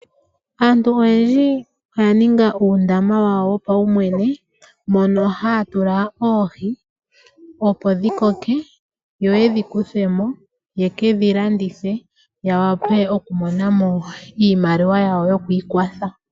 Aantu oyendji oya ninga uudama momagumbo, mono haya tula oohi opo dhi koke noku idjipala. Ngele dha koko ohadhi kwatwa mo e tadhi landithwa opo yamone iimaliwa nenge oshiyelelwa shomegumbo.